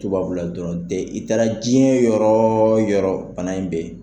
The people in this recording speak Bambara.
Tubabula dɔrɔnw tɛ i taara diɲɛ yɔrɔ o yɔrɔ bana in bɛ yen .